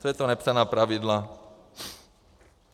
Co je to nepsaná pravidla?